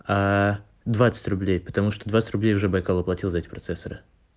аа двадцать рублей потому что двадцать рублей уже байкал оплатил за эти процессоры